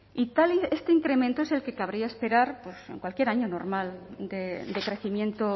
este incremento es el que cabría esperar en cualquier año normal de crecimiento